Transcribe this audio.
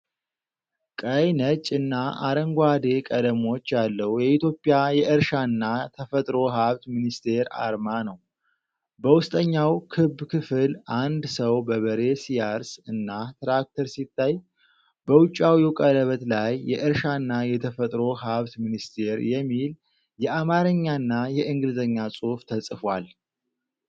ቀይ፣ ነጭ እና አረንጓዴ ቀለሞች ያለው የኢትዮጵያ የእርሻና ተፈጥሮ ሀብት ሚኒስቴር አርማ ነው። በውስጠኛው ክብ ክፍል አንድ ሰው በበሬ ሲያርስ እና ትራክተር ሲታይ፤ በውጫዊው ቀለበት ላይ “የእርሻና የተፈጥሮ ሀብት ሚኒስቴር” የሚል የአማርኛና የእንግሊዝኛ ጽሑፍ ተጽፏል።